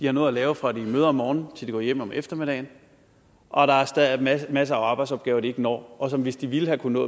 har noget at lave fra de møder om morgenen til de går hjem om eftermiddagen og der er masser af arbejdsopgaver de ikke når og hvis de havde kunnet